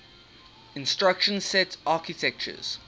instruction set architectures